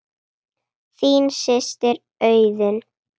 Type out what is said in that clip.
Þín systir Auður.